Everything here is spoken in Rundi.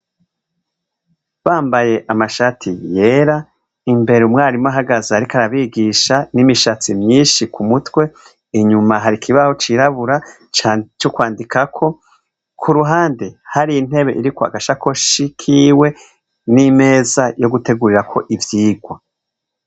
Bambaye amashati yera imbere umwigisha ahagaze ariko arabigisha n'imishatsi myishi ku mutwe inyuma hari ikibaho cirabura co kwandikako ku ruhande hari intebe iriko agasakoshi kiwe n'imeza yo gutegurirako ivyirwa.